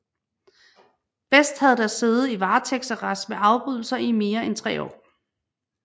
Best havde da siddet i varetægtsarrest med afbrydelser i mere end tre år